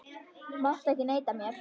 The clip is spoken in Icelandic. Þú mátt ekki neita mér.